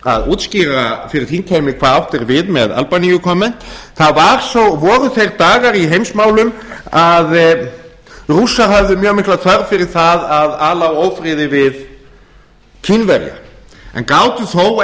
að útskýra fyrir þingheimi hvað átt er við með albaníukomment það voru þeir dagar í heimsmálum að rússar höfðu mjög mikla þörf fyrir það að ala á ófriði við kínverja en gátu þó